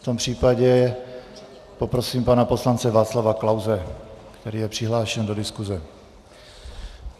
V tom případě poprosím pana poslance Václava Klause, který je přihlášen do diskuse.